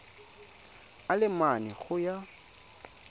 a le mane go ya